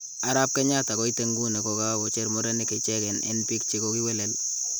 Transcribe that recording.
arap kenyatta koite iguni kokakocher murenik ichengeen en pik che kokiwelel